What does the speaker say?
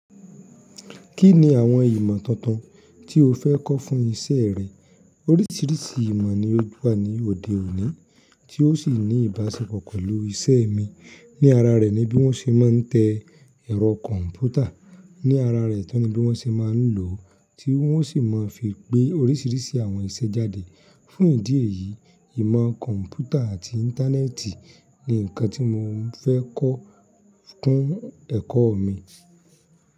Kí ni àwọn ìmọ̀ tuntun tí o fẹ́ kọ́ fún ìṣe rẹ? Oríṣìíríṣìí ìmọ̀ ni ó wà ní òde òní tí ó sì ní ìbáṣepọ̀ pẹ̀lú iṣẹ́ mi. Ni ara rẹ̀ ni bí wọ́n ṣe máa ń tẹ ẹ̀rọ kọ̀m̀pútà, ní ara rẹ̀ tán ni bí wọ́n ṣe máa ń lò ó, tí wọ́n sì máa ń fi pe oríṣìíríṣìí àwọn iṣẹ́ jáde. Fún ìdí èyí, ìmọ̀ kọ̀m̀pútà àti Internet ni nǹkan tí mo fẹ́ kọ́ kún ẹ̀kọ́ mi.